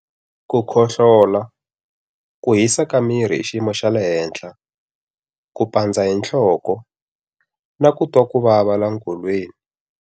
Ku khohlola, ku hisa ka miri hi xiyimo xa le henhla, ku pandza hi nhloko, na ku twa ku vava laha nkolweni.